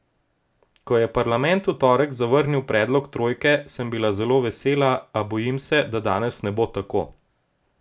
Ko je parlament v torek zavrnil predlog trojke, sem bila zelo vesela, a bojim se, da danes ne bo tako.